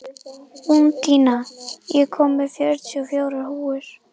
Úndína, ég kom með fjörutíu og fjórar húfur!